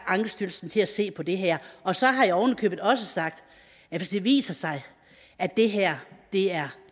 ankestyrelsen til at se på det her og så har jeg oven i købet også sagt at hvis det viser sig at det her er